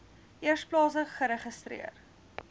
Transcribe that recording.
eers plaaslik geregistreer